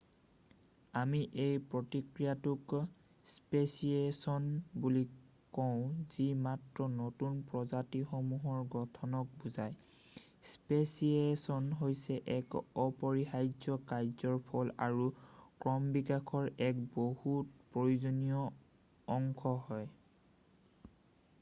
আমি এই প্ৰক্ৰিয়াটোক স্পেচিয়েছন বুলি কওঁ যি মাত্ৰ নতুন প্ৰজাতিসমূহৰ গঠনক বুজাই৷ স্পেচিয়েছন হৈছে এক অপৰিহাৰ্য্য কাৰ্য্যৰ ফল আৰু ক্ৰমবিকাশৰ এক বহুত প্ৰয়োজনীয় অংশ হয়৷